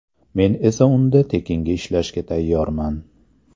Men esa unda tekinga ishlashga tayyorman.